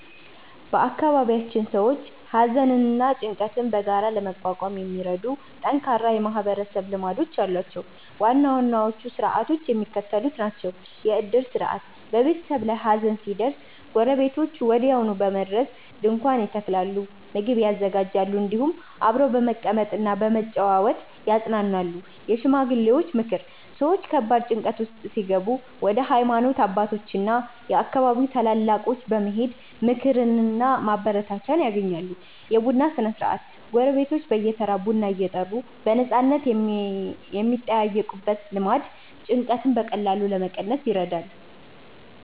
በአካባቢያችን ሰዎች ሐዘንና ጭንቀትን በጋራ ለመቋቋም የሚረዱ ጠንካራ የማህበረሰብ ልማዶች አሏቸው። ዋና ዋናዎቹ ሥርዓቶች የሚከተሉት ናቸው፦ የዕድር ሥርዓት፦ በቤተሰብ ላይ ሐዘን ሲደርስ ጎረቤቶች ወዲያውኑ በመድረስ ድንኳን ይተክላሉ፣ ምግብ ያዘጋጃሉ፤ እንዲሁም አብረው በመቀመጥና በመጨዋወት ያጽናናሉ። የሽማግሌዎች ምክር፦ ሰዎች ከባድ ጭንቀት ውስጥ ሲገቡ ወደ ሃይማኖት አባቶችና የአካባቢው ታላላቆች በመሄድ ምክርና ማበረታቻ ያገኛሉ። የቡና ሥነ-ሥርዓት፦ ጎረቤቶች በየተራ ቡና እየጠሩ በነፃነት የሚጠያየቁበት ልማድ ጭንቀትን በቀላሉ ለመቀነስ ይረዳል።